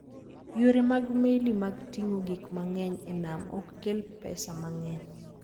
Yore mag meli mag ting'o gik mang'eny e nam ok kel pesa mang'eny.